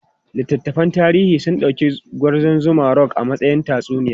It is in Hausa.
Littattafan tarihi sun dauki Gwarzon Zuma Rock a matsayin tatsuniya.